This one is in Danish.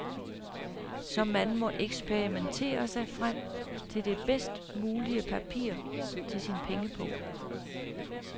Så man må eksperimentere sig frem til det bedst mulige papir til sin pengepung.